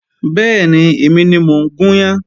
Bẹ́ẹ̀ni, èmi ni mo ń gún yan